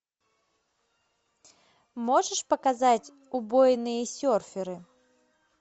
можешь показать убойные серферы